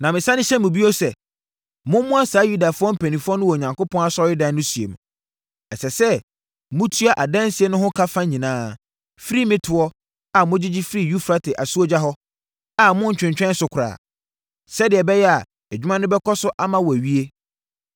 Na mesane hyɛ mo bio sɛ, mommoa saa Yudafoɔ mpanimfoɔ no wɔ Onyankopɔn asɔredan no sie mu. Ɛsɛ sɛ motua adansie no ho ka nyinaa firi me toɔ a mogyegye firi Eufrate asuogya hɔ, a monntwentwɛn so koraa, sɛdeɛ ɛbɛyɛ a adwuma no bɛkɔ so ama wɔawie.